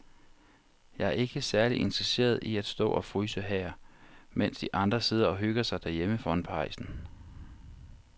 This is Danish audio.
Jeg er ikke særlig interesseret i at stå og fryse her, mens de andre sidder og hygger sig derhjemme foran pejsen.